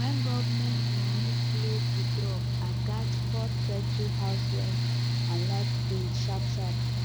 when government money slow to drop i gats first settle house rent and light bill sharpsharp